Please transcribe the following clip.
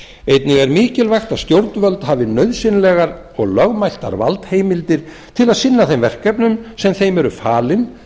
einnig er mikilvægt að stjórnvöld hafi nauðsynlegar og lögmætar valdheimildir til að sinna þeim verkefnum sem þeim eru falin